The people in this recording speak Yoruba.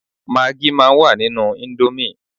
Magí máa ń wà nínú íńdómì.